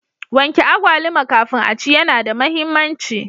Wanke agwaluma kafin aci yana da muhimmanci.